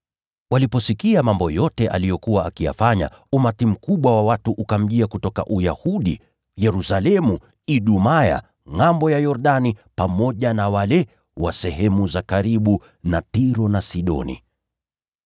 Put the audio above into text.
Waliposikia mambo yote aliyokuwa akiyafanya, umati mkubwa wa watu ukamjia kutoka Uyahudi, Yerusalemu, Idumaya, na ngʼambo ya Yordani, pamoja na wale wa sehemu za karibu na Tiro na Sidoni.